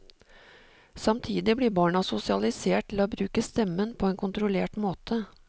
Samtidig blir barna sosialisert til å bruke stemmen på en kontrollert måte.